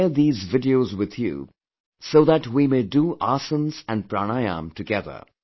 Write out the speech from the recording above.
I will share these videos with you so that we may do aasans and pranayam together